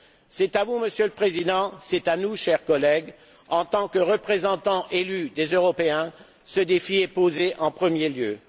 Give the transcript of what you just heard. C'est à vous, Monsieur le Président, c'est à nous, chers collègues, en tant que représentants élus des Européens, que ce défi est posé en premier lieu.